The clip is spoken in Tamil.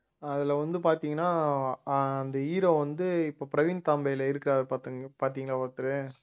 அதுல வந்து பார்த்தீங்கன்னா ஆஹ் அந்த hero வந்து இப்ப பிரவீன் தாம்பேல இருக்காரு பார்த்து பாத்தீங்களா ஒருத்தரு